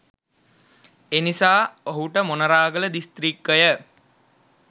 එනිසා ඔහුට මොනරාගල දිස්ත්‍රික්කය